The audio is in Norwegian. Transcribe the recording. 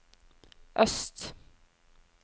øst